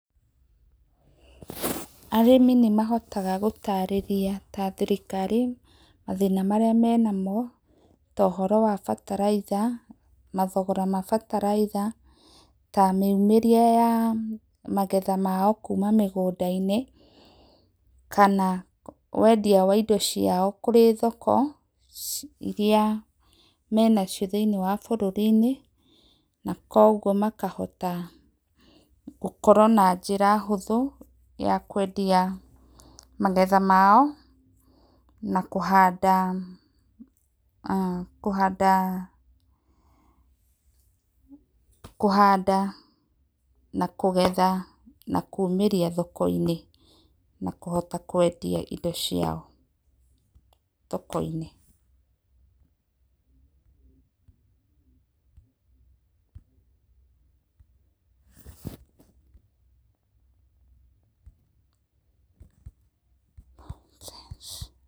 Arĩmi nĩmahotaga gũtarĩrĩa ta thĩrĩkarĩ, mathĩna marĩa mena mo, ta ũhoro wa bataraitha na thogora ma bataraitha, ta mĩũmĩre ya magetha mao kũma mĩgũnda inĩ, kana wendĩa wa ĩndo ciao kũrĩ thoko ĩrĩa mena cio thĩ inĩ wa bũrũrĩ ,na kwogwo makahota gũkorwo na njĩra hũthũ ya kũendĩa magetha mao ,na kũhanda kũhanda kũhanda na kũgetha na kũumĩrĩa thoko ĩnĩ na kũhota kwendĩa ĩndo cĩao thoko inĩ [paũse].